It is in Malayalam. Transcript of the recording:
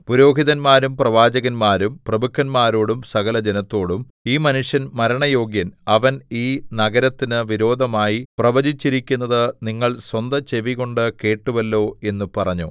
പുരോഹിതന്മാരും പ്രവാചകന്മാരും പ്രഭുക്കന്മാരോടും സകലജനത്തോടും ഈ മനുഷ്യൻ മരണയോഗ്യൻ അവൻ ഈ നഗരത്തിനു വിരോധമായി പ്രവചിച്ചിരിക്കുന്നത് നിങ്ങൾ സ്വന്തചെവികൊണ്ടു കേട്ടുവല്ലോ എന്ന് പറഞ്ഞു